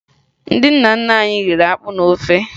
Ndị nna nna anyị riri akpụ na ofe